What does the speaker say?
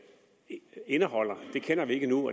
indeholde ved vi endnu